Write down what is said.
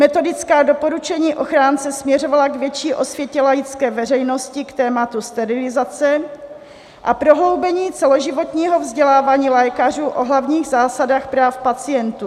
Metodická doporučení ochránce směřovala k větší osvětě laické veřejnosti k tématu sterilizace a prohloubení celoživotního vzdělávání lékařů o hlavních zásadách práv pacientů.